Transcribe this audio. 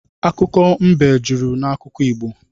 Akụkọ mbe jụrụ n’akụkọ Igbo